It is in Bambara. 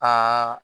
Aa